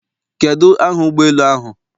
Kedu aha ụgbọ elu ahụ?